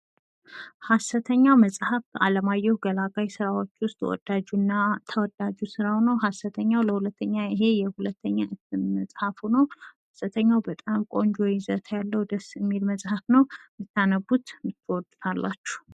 ሀሰተኛ መጻፍ አለማየሁ ገላጋይ ስራዎች ውስጥ ተወዳጁ ስራው ሐሰተኛው ለሁለተኛ እትም መጻፍ ነው። ይሄ የሁለተኛው በጣም ቆንጆ ያለው ደስ የሚል መጽሐፍ ነው። ብታነቡት ትውዱታላችሁ።